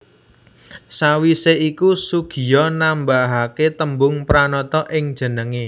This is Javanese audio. Sawisé iku Soegiya nambahaké tembung Pranata ing jenengé